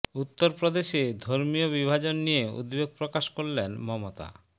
উত্তর প্রদেশে ধর্মীয় বিভাজন নিয়ে উদ্বেগ প্রকাশ করলেন মমতা